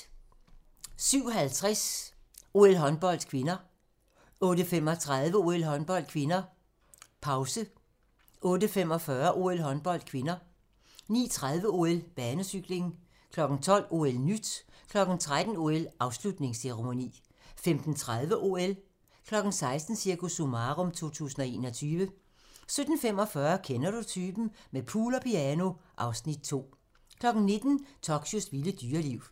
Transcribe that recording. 07:50: OL: Håndbold (k) 08:35: OL: Håndbold (k), pause 08:45: OL: Håndbold (k) 09:30: OL: Banecykling 12:00: OL-nyt 13:00: OL: Afslutningsceremoni 15:30: OL 16:00: Cirkus Summarum 2021 17:45: Kender du typen? – med pool og piano (Afs. 2) 19:00: Tokyos vilde dyreliv